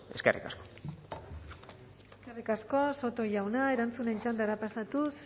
eskerrik asko eskerrik asko soto jauna erantzunen txandara pasatuz